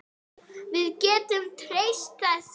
Við getum treyst þessu.